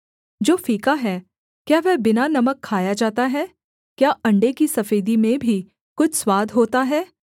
जो फीका है क्या वह बिना नमक खाया जाता है क्या अण्डे की सफेदी में भी कुछ स्वाद होता है